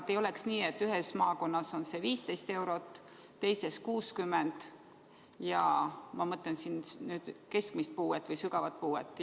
Et ei oleks nii, et ühes maakonnas on see 15 eurot, teises 60 ja mõnes on see isegi 100 eurot.